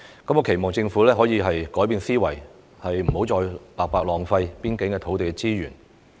我期望政府可以改變思維，不要再白白浪費邊境的土地資源。